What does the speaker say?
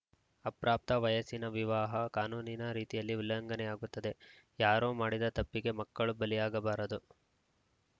ಅಪ್ರಾಪ್ತ ವಯಸ್ಸಿನ ವಿವಾಹ ಕಾನೂನಿನ ರೀತಿಯಲ್ಲಿ ಉಲ್ಲಂಘನೆಯಾಗುತ್ತದೆ ಯಾರೋ ಮಾಡಿದ ತಪ್ಪಿಗೆ ಮಕ್ಕಳು ಬಲಿಯಾಗಬಾರದು